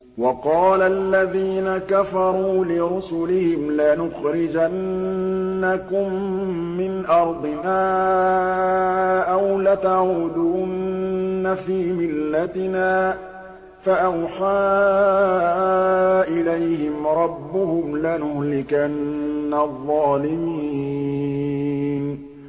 وَقَالَ الَّذِينَ كَفَرُوا لِرُسُلِهِمْ لَنُخْرِجَنَّكُم مِّنْ أَرْضِنَا أَوْ لَتَعُودُنَّ فِي مِلَّتِنَا ۖ فَأَوْحَىٰ إِلَيْهِمْ رَبُّهُمْ لَنُهْلِكَنَّ الظَّالِمِينَ